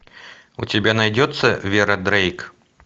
у тебя найдется вера дрейк